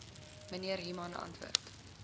mnr human antwoord